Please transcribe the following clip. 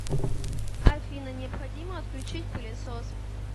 афина необходимо отключить пылесос